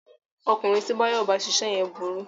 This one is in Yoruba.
Ọkùnrin tí Báyọ̀ bá ṣiṣẹ́ yẹn burú